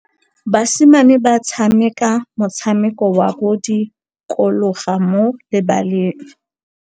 Basimane ba tshameka motshameko wa modikologô mo lebaleng.